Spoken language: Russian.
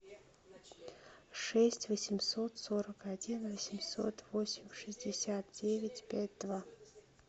шесть восемьсот сорок один восемьсот восемь шестьдесят девять пять два